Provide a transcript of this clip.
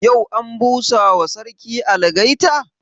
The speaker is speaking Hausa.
Yau an busa ma sarki algaita?